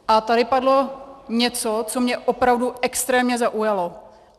A tady padlo něco, co mě opravdu extrémně zaujalo.